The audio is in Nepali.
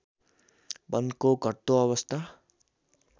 वनको घट्दो अवस्था